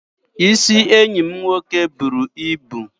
Isi enyi m nwoke buru ibu.